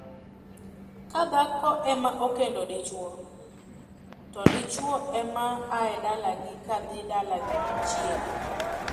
Ka dhako ema okendo dichwo, to dichwo ema aa dalagi kadhi dalagi chiege.